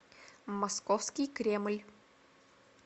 московский кремль